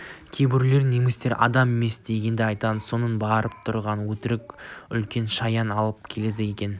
кейбіреулер немістерді адам емес дегенді айтады сонымен барып тұрған өтірік үлкен шаян алып келеді екен екі